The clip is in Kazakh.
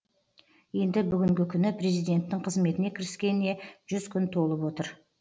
енді бүгінгі күні президенттің қызметіне кіріскеніне жүз күн толып отыр